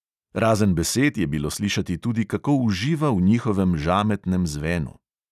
Razen besed je bilo slišati tudi, kako uživa v njihovem žametnem zvenu.